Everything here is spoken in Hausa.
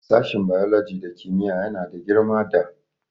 Sashin biology da kimiyya yana da girma da......